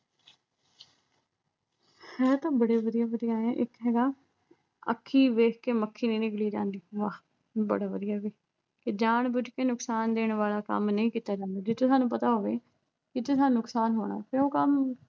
ਹੈ ਤਾਂ ਬੜੇ ਵਧੀਆ-ਵਧੀਆ ਐ ਇੱਕ ਹੈਗਾ ਅੱਖੀਂ ਵੇਖ ਕੇ ਮੱਖੀ ਨੀ ਨਿਗਲੀ ਜਾਂਦੀ। ਵਾਹ ਬੜੇ ਵਧੀਆ ਬਈ ਕਿ ਜਾਣ ਬੁੱਝ ਕੇ ਨੁਕਸਾਨ ਦੇਣ ਵਾਲਾ ਕੰਮ ਨਹੀਂ ਕੀਤਾ ਜਾਂਦਾ ਜਿੱਥੇ ਤੁਹਾਨੂੰ ਪਤਾ ਹੋਵੇ ਇੱਥੇ ਇਹਦਾ ਨੁਕਸਾਨ ਹੋਣਾ ਕਿਉਂ ਕਰਨਾ ਏ